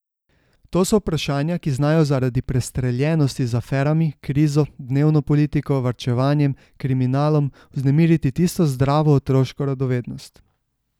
To so vprašanja, ki znajo sredi prestreljenosti z aferami, krizo, dnevno politiko, varčevanjem, kriminalom vznemiriti tisto zdravo, otroško radovednost.